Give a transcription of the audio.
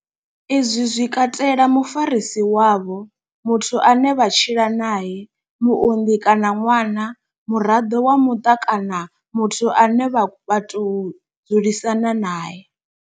Izwi zwi katela mufarisi wavho, muthu ane vha tshila nae, muunḓi kana ṅwana, muraḓo wa muṱa kana muthu ane vha tou dzulisana nae.